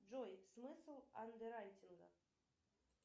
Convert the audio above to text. джой смысл андерайтинга